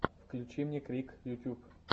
включи мне крик ютуб